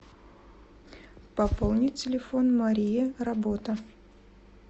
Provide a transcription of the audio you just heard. пополнить телефон мария работа